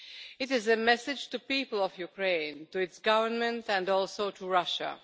It is a message to the people of Ukraine, to its government and also to Russia.